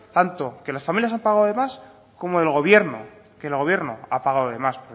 tanto que las familias han pagado de más como que el gobierno ha pagado de más